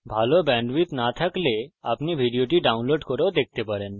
যদি ভাল bandwidth না থাকে তাহলে আপনি ভিডিওটি download করে দেখতে পারেন